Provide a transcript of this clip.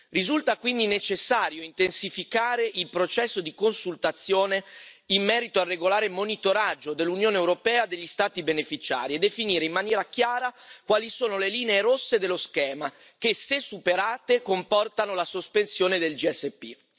Risulta quindi necessario intensificare il processo di consultazione in merito al regolare monitoraggio dell'Unione europea degli Stati beneficiari e definire in maniera chiara quali sono le linee rosse dello schema che, se superate, comportano la sospensione dell'SPG.